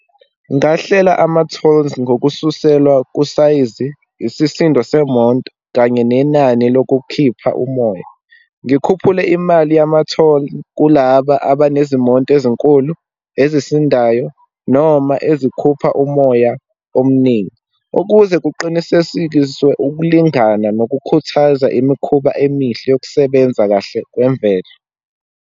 Ngahlela ama-tolls ngokususelwa kusayizi, isisindo semonto, kanye nenani lokukhipha umoya. Ngikhuphule imali yamatholi kulaba abanezimonto ezinkulu, ezisindayo, noma ezikhupha umoya omningi, ukuze kuqinisesikiswe ukulingana nokukhuthaza imikhuba emihle yokusebenza kahle kwemvelo.